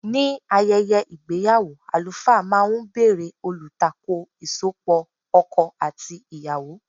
Ní ayẹyẹ ìgbéyàwó, àlùfáà máa ń bèrè olùtakò ìsopọ̀ ọkọ àti ìyàwó.